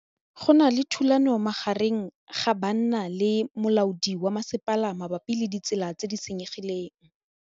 Go na le thulanô magareng ga banna le molaodi wa masepala mabapi le ditsela tse di senyegileng.